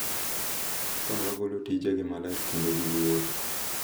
Ka wagolo tijegi maler kendo gi luor,